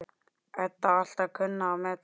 Edda alltaf kunnað að meta.